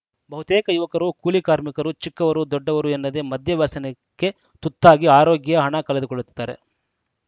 ಬಹುತೇಕ ಯುವಕರು ಕೂಲಿ ಕಾರ್ಮಿಕರು ಚಿಕ್ಕವರು ದೊಡ್ಡವರು ಎನ್ನದೇ ಮದ್ಯ ವ್ಯಸನಕ್ಕೆ ತುತ್ತಾಗಿ ಆರೋಗ್ಯ ಹಣ ಕಳೆದುಕೊಳ್ಳುತ್ತಿದ್ದಾರೆ